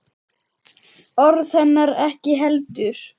Orð hennar ekki heldur.